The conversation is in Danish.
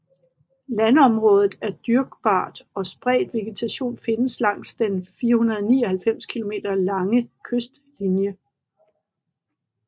Landområdet er dyrkbart og spredt vegetation findes langs den 499 km lange kystlinje